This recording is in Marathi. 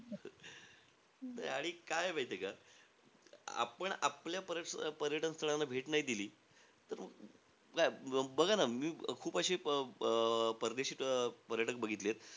आणि काये माहितीय का, आपण आपल्या पर्य पर्यटन स्थळांना भेट नाई दिली. तर बघा ना, मी खूप अशे अं परदेशी अं पर्यटक बघितलेयत,